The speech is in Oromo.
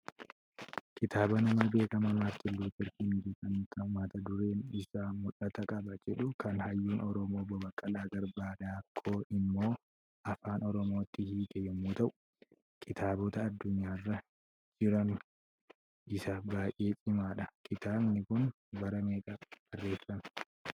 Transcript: Kitaaba nama beekamaa Maartiin luuter kiingi xiqqaan kan mata dureen isaa "mul'atan qaba" jedhu, kan hayyuun Oromoo obbo Baqqalaa Garbaa Daakkoo immoo afaan Oromootti hiike yommuu ta'u, kitaabota addunyaa jijjiiran keessaa isa baay'ee cimaadha. Kitaabni kun bara meeqa barreeffamee?